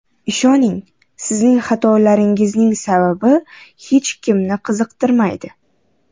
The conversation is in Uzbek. Ishoning, sizning xatolaringizning sababi hech kimni qiziqtirmaydi.